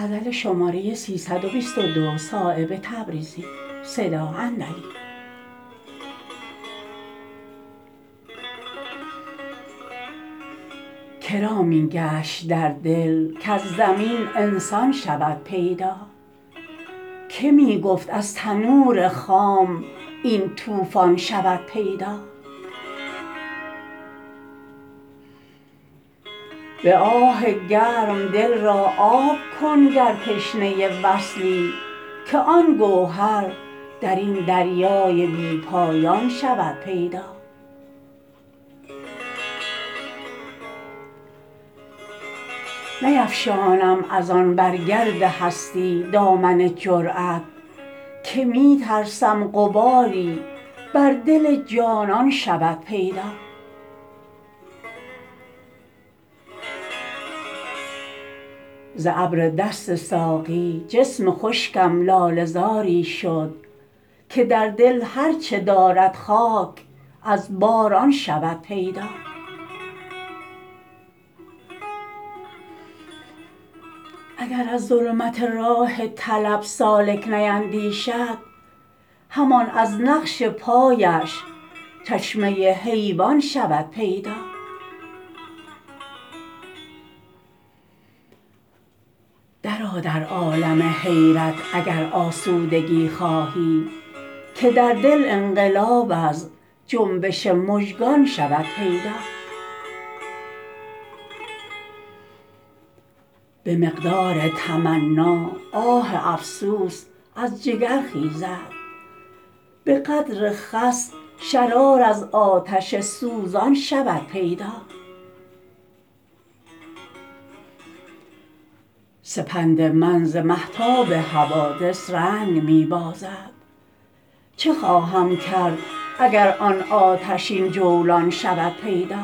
که را می گشت در دل کز زمین انسان شود پیدا که می گفت از تنور خام این طوفان شود پیدا به آه گرم دل را آب کن گر تشنه وصلی که آن گوهر درین دریای بی پایان شود پیدا نیفشانم ازان بر گرد هستی دامن جرأت که می ترسم غباری بر دل جانان شود پیدا ز ابردست ساقی جسم خشکم لاله زاری شد که در دل هر چه دارد خاک از باران شود پیدا اگر از ظلمت راه طلب سالک نیندیشد همان از نقش پایش چشمه حیوان شود پیدا درآ در عالم حیرت اگر آسودگی خواهی که در دل انقلاب از جنبش مژگان شود پیدا به مقدار تمنا آه افسوس از جگر خیزد به قدر خس شرار از آتش سوزان شود پیدا سپند من ز مهتاب حوادث رنگ می بازد چه خواهم کرد اگر آن آتشین جولان شود پیدا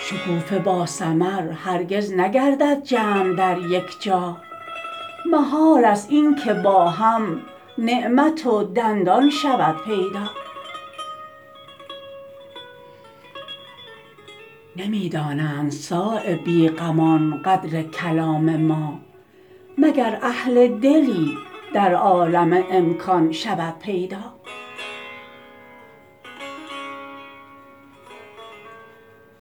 شکوفه با ثمر هرگز نگردد جمع در یک جا محال است این که با هم نعمت و دندان شود پیدا نمی دانند صایب بیغمان قدر کلام ما مگر اهل دلی در عالم امکان شود پیدا